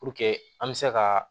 Puruke an bɛ se ka